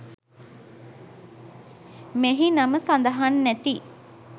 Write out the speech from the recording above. මෙහි නම සදහන් නැති